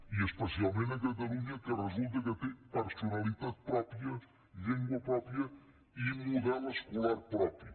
i especialment a catalunya que resulta que té personalitat pròpia llengua pròpia i model escolar propi